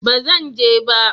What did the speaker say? ba Zan je ba